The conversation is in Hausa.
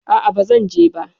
A'a, ba zan je ba.